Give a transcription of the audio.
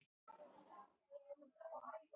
Er ekki farið að hræra þau saman í tilraunaglösum.